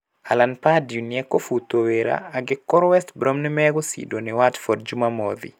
Alan Pardew nĩekũhutwa wĩra angĩkorwo West Brom nĩmegũcindwa nĩ Watford Jumamothi.